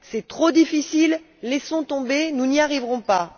C'est trop difficile, laissons tomber, nous n'y arriverons pas!